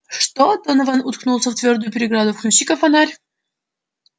что донован уткнулся в твёрдую преграду включи-ка фонарь